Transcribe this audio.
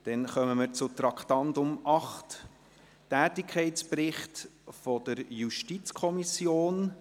Wir kommen zum Traktandum 8: Tätigkeitsbericht der JuKo.